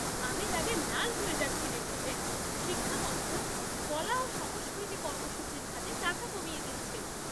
আমি রাগে লাল হয়ে যাচ্ছি দেখে যে শিক্ষা মন্ত্রক কলা ও সংস্কৃতি কর্মসূচির খাতে টাকা কমিয়ে দিচ্ছে!